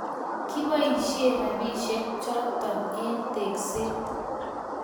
kiboisien robinichoto eng tekseet